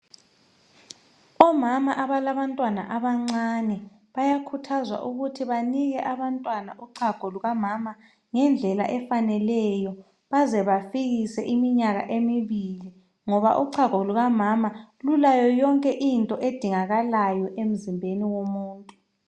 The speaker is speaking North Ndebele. Omama balabantwana abancane bayakhuthazwa ukuthi banike abantwana uchago lukamama ngendlela efaneleyo baze bafikise iminyaka emibili ngoba uchago lukamama lulayo yonke into edingakalayo emzimbeni womuntu.